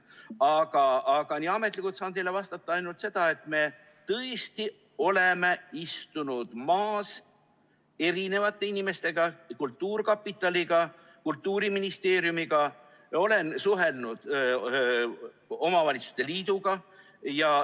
Aga ametlikult saan teile vastata ainult seda, et me tõesti oleme istunud koos erinevate inimestega, kultuurkapitaliga, Kultuuriministeeriumiga, olen suhelnud omavalitsuste liiduga.